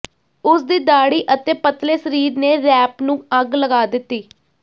ਉਸਦੀ ਦਾੜ੍ਹੀ ਅਤੇ ਪਤਲੇ ਸਰੀਰ ਨੇ ਰੈਂਪ ਨੂੰ ਅੱਗ ਲਗਾ ਦਿੱਤੀ